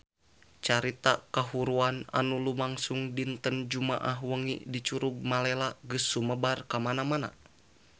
Carita kahuruan anu lumangsung dinten Jumaah wengi di Curug Malela geus sumebar kamana-mana